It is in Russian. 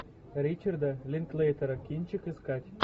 ричарда линклейтера кинчик искать